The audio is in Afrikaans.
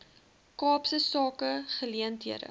kaapse sake geleenthede